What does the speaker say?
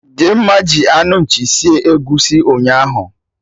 Dimma ji anụ nchi sie egusi ụnyaahụ